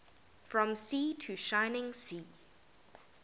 from sea to shining sea